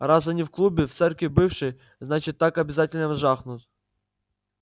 раз они в клубе в церкви бывшей значит так обязательно жахнут